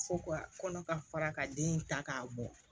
Fo ka kɔnɔ ka fara ka den in ta k'a bɔ